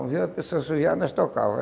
Quando via uma pessoa assoviar, nós tocava